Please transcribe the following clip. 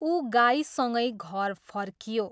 ऊ गाईसँगै घर फर्कियो।